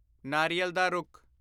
ਨਾਰੀਅਲ ਦਾ ਰੁੱਖ